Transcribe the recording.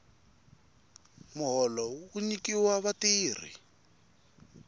muholo wu nyikiwa vatirhi